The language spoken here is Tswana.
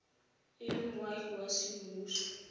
e le moagi wa semmuso